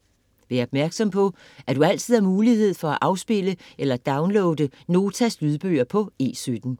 Vær opmærksom på, at du altid har mulighed for at afspille eller downloade Notas lydbøger på E17.